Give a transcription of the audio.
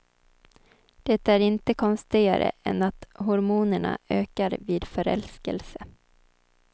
Det är inte konstigare än att hormonerna ökar vid förälskelse.